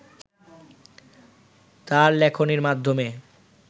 তার লেখনীর মাধ্যমে